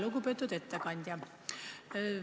Lugupeetud ettekandja!